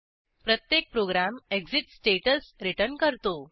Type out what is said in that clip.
प्रत्येक program exit statusरिटर्न करतो